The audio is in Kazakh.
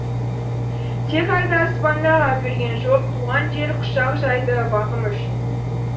тек айды аспандағы әперген жоқ туған жер құшақ жайды бағым үшін